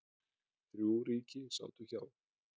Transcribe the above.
Þrjú ríki sátu hjá.